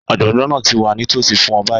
Ọ̀jọ̀gbọ́n náà ti wà nítòsí fún ọ báyìí